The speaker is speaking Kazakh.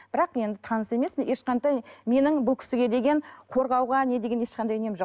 бірақ енді таныс емеспін ешқандай менің бұл кісіге деген қорғауға не деген ешқандай нем жоқ